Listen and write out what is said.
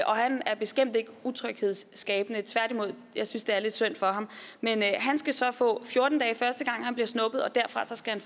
og han er bestemt ikke utryghedsskabende tværtimod jeg synes det er lidt synd for ham men han skal så få fjorten dage første gang han bliver snuppet og derfra skal han